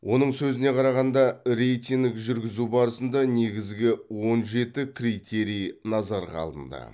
оның сөзіне қарағанда рейтинг жүргізу барысында негізгі он жеті критерий назарға алынды